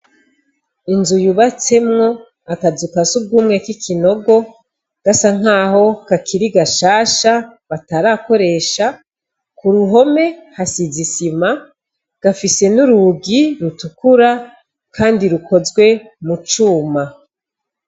Inzu yubatsemwo akazu ka sugumwe k'ikinogo gasa naho kakiri gashasha batarakoresha ku ruhome hasize isima gafise n'urugi rutukura kandi rukozwe mu cuma.